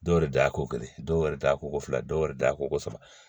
Dɔw yɛrɛ da ko kelen dɔw yɛrɛ t'a koko fila dɔw yɛrɛ da koko saba